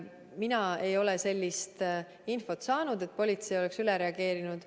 Mina ei ole sellist infot saanud, et politsei oleks üle reageerinud.